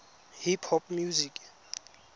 hip hop music